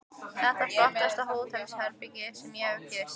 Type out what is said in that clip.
Þetta er flottasta hótelherbergi sem ég hef gist.